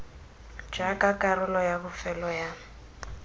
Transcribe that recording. jaaka karolo ya bofelo ya